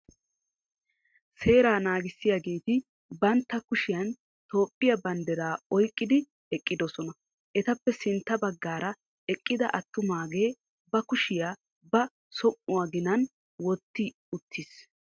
Seera naagissiyaageeti bantta kushiyan Toophphiya banddiraa oyqqidi eqqiddossona. Etappe sintta baggaara eqqida atummagee ba kushiya ba som'uwa ginan wotti uttiis.